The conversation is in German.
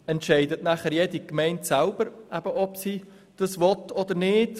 Entscheidet jede Gemeinde selbst, ob sie das will oder nicht?